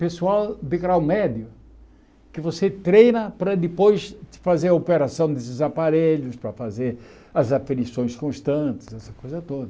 Pessoal de grau médio que você treina para depois fazer a operação desses aparelhos, para fazer as aflições constantes, essa coisa toda.